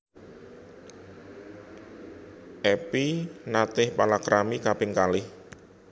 Epy naté palakrami kaping kalih